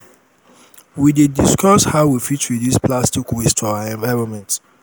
we dey discuss how we fit reduce plastic waste for our environment.